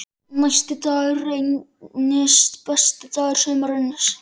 Næsti dagur reynist besti dagur sumarsins.